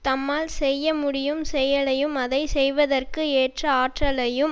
தம்மால் செய்யமுடியும் செயலையும் அதை செய்வதற்கு ஏற்ற ஆற்றலையும்